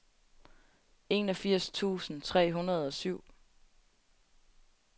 enogfirs tusind tre hundrede og syv